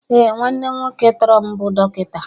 Ee, nwanne m nwoke tọrọ m bụ dọkịta